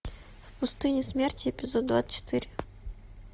в пустыне смерти эпизод двадцать четыре